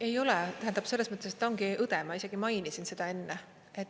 Ei ole, tähendab, selles mõttes ta ongi õde, ma isegi mainisin seda enne.